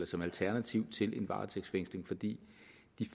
som alternativ til en varetægtsfængsling for de